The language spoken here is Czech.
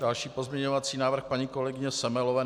Další pozměňovací návrh paní kolegyně Semelové.